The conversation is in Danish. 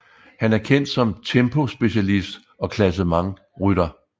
Han er kendt som tempospecialist og klassementsrytter